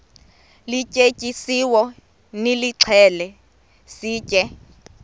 lityetyisiweyo nilixhele sitye